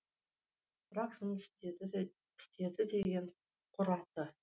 бірақ жұмыс істеді деген құр аты